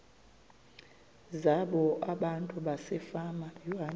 zabo abantu basefama